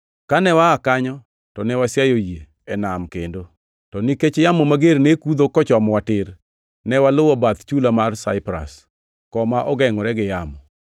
Kane waa kanyo to ne wasiayo yie e nam kendo, to nikech yamo mager ne kudho kochomowa tir, ne waluwo bath chula mar Saipras koma ogengʼore gi yamo.